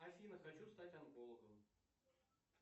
афина хочу стать онкологом